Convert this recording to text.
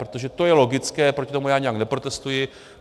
Protože to je logické, proti tomu já nijak neprotestuji.